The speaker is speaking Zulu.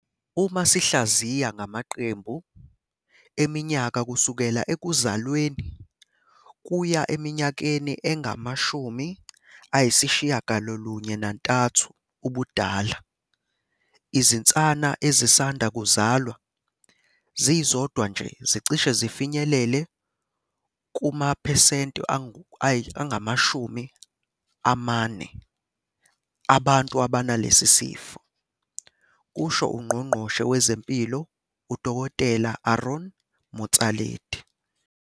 Uma sihlaziya ngamaqembu eminyaka kusukela ekuzalweni kuya eminyakeni engama-93 ubudala, izinsana ezisanda kuzalwa zizodwa nje zicishe zifinyelele kumaphesenti angama-40 abantu abanalesi sifo, kusho uNgqongqoshe wezeMpilo uDkt Aaron Motsoaledi.